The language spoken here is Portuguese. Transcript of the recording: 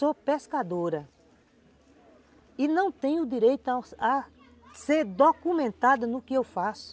Sou pescadora e não tenho direito a ser documentada no que eu faço.